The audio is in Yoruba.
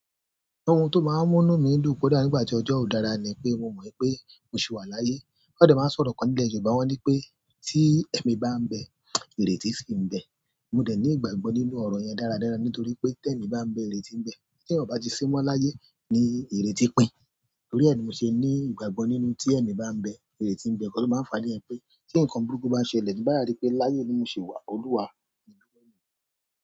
Ohun tó máa ń mú mí dùn kodá nígbà tí ọjọ́ ó dára ni pé mo mọ̀ wipé mo sì wà láyé. Won de máa ń sọ̀rọ̀ kan nílẹ̀ Yorùbá wọ́n ní pé tí ẹ̀mi bá ń bẹ, ìrètí sì ń bẹ. Mo dẹ̀ ní ìgbàgbọ́ nínú ọ̀rọ̀ yẹn dáradára nítorí pé tí ẹ̀mi bá ń bẹ ìrètí ń bẹ tí èèyàn ò bá ti sí mọ́ láyé ni ìrètí pìn. Nítorí ẹ ni mo ṣe ní ìgbàgbọ́ nínú tí ẹ̀mi bá ń bẹ ìrètí ń bẹ. Nkan tó máa ń fa niyen pé tí nǹkan burúkú bá ṣẹlẹ̀, bí mo bá sa rí pé láyé ni mo ṣi wà, Olúwa ìbùkún ni.